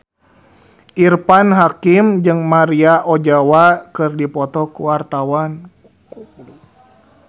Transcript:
Irfan Hakim jeung Maria Ozawa keur dipoto ku wartawan